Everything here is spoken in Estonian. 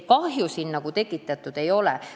Kahju siin tekitatud ei ole.